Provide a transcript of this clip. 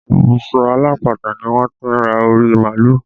Ibùsọ alápatà ni wọ́n ti ra orí màálù